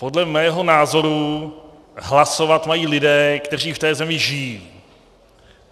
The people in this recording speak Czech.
Podle mého názoru hlasovat mají lidé, kteří v té zemi žijí.